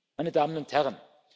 meine Damen und Herren,